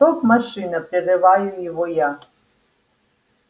стоп машина прерываю его я